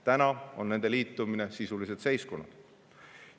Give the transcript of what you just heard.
Praeguseks on nende liitumine sisuliselt seiskunud.